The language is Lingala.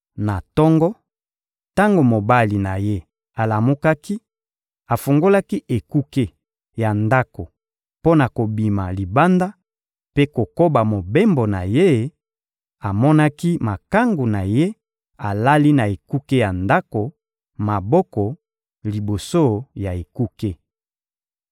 Na tongo, tango mobali na ye alamukaki, afungolaki ekuke ya ndako mpo na kobima libanda mpe kokoba mobembo na ye; amonaki makangu na ye alali na ekuke ya ndako, maboko liboso ya ekuke.